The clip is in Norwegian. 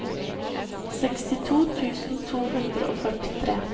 sekstito tusen to hundre og førtitre